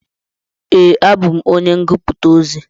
Ee, abú m onye ngụputa ozi.